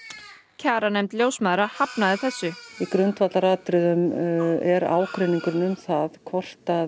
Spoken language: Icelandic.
kjaranefnd ljósmæðra hafnaði þessu í grundvallaratriðum er ágreiningurinn um það hvort að